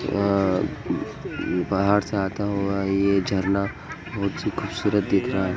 अ अ पहाड़ से आता हुआ ये झरना बहुत सी खूबसूरत दिख रहा है।